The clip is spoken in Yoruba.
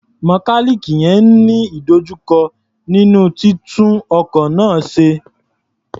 Mẹkáníìnì yẹn ń ní ìdojúkọ nínú títú ọkọ̀ náà ṣe.